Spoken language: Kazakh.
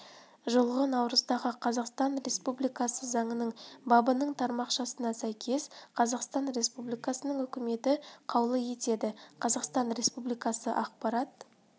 жылғы наурыздағы қазақстан республикасы заңының бабының тармақшасына сәйкес қазақстан республикасының үкіметі қаулы етеді қазақстан республикасы ақпарат